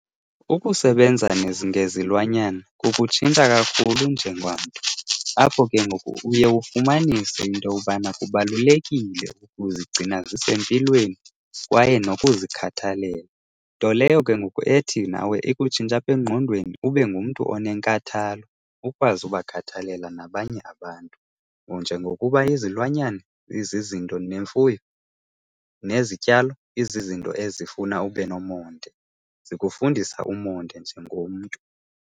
Ukusebenza ngezilwanyana kukutshintsha kakhulu apho ke ngoku uye ufumanise into yokubana kubalulekile ukuzigcina zisempilweni kwaye nokuzikhathalela. Nto leyo ke ngoku ethi nawe ikutshintshe apha engqondweni, ube ngumntu onenkathalo, ukwazi ubakhathalela nabanye abantu. Njengokuba izilwanyana izizinto nemfuyo, nezityalo izinto ezifuna ube nomonde, zikufundisa umonde njengomntu.